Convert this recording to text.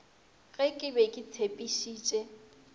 ge ke be ke tshepišitše